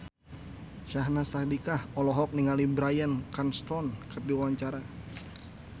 Syahnaz Sadiqah olohok ningali Bryan Cranston keur diwawancara